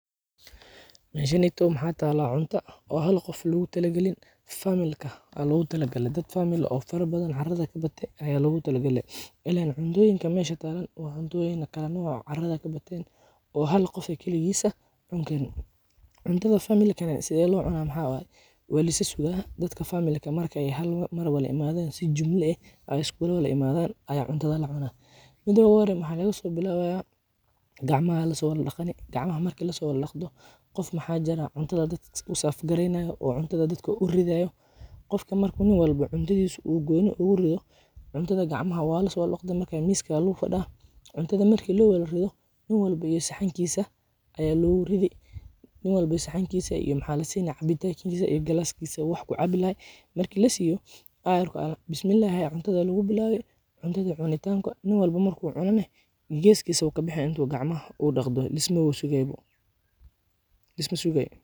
Meshaneytow maxa tala cunta, oo xal gof lagutalaqalin, family kah ayal ogutalagale, dad family oo farabadan carada kabatee aya logutalagalee, ilen cuntoyinkan mesha tagaan wa cuntoyin kale noc carada kabateen, oo hal gof ah kiliqisaa cunkarin, cuntada familka sidhe lo cunaa Maxa waye walisasugaa, dadka familka markay hal meel wadaa imadaan si jumla eh aya iskulawadaa imaadaan aya har mar eh cuntadaa lacunaa, mida oguhore waxa lagadobilabaya, gacmaxa lasowada dagaani, gacmaha marki lasowada daqto, gof maxa jiraa cuntada dad serve gareynayo, oo cuntada dadka urid ridayo, gofka marka nin walba oo cuntidisaa oo gooni ogurido, cuntada qacmaxa walaso wadadaqdee, marka miska aya lafadaa, cuntada lowadarido, nin walba iyo saxankisa aya loguridi, nin walba iyo saxankisa iyo waxa lasiyaa cabitankisa iyo glasskisa oo wax kucabi laxaay, marki lasiyo ayarko aya bismilaahi aya cuntada lagubilabi, cuntadi cunitanka nin walba marku cunaynah geskisa ayu kabixii intu gacmaha oo daqtoo, lismawashegayo boo , lismashegay.